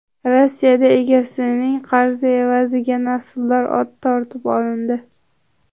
Rossiyada egasining qarzi evaziga nasldor ot tortib olindi.